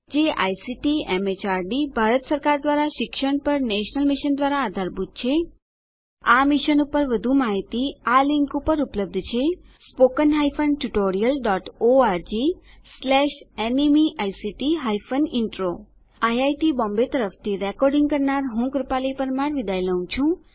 જે ICT MHRD Bharat સરકાર દ્વારા શિક્ષણ પર નેશનલ મિશન દ્વારા આધારભૂત છે આ મિશન પર વધુ માહીતી આ લીંક પર ઉપલબ્ધ છે spoken hyphen tutorial dot org slash NMEICT hyphen intro iit Bombay તરફથી સ્પોકન ટ્યુટોરીયલ પ્રોજેક્ટ માટે ભાષાંતર કરનાર હું જ્યોતી સોલંકી વિદાય લઉં છું